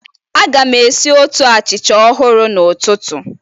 Aga m esi otu achịcha ọhụrụ n'ụtụtụ